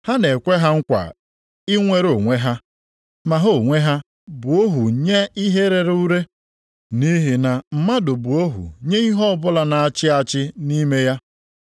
Ha na-ekwe ha nkwa inwere onwe ha, ma ha onwe ha bụ ohu nye ihe rere ure, nʼihi na mmadụ bụ ohu nye ihe ọbụla na-achị achị nʼime ya.